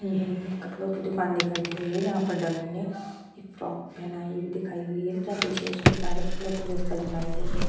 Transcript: ये है एक कपड़ो की दुकान दिखाई दे रही है जहाँ पर डमी ने एक फ्रॉक पहनाई हुई दिखाई हुई है पीछे उसके सारे कपड़ों की व्वस्था जमाई गई है